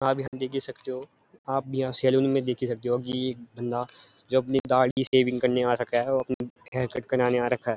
आप यहाँ देख ही सकते हो आप यहाँ सैलून में देख ही सकते हो कि एक बंदा जो अपनी दाढ़ी शेविंग करने आ रखा है और अपने हेयर कट कराने आ रखा है।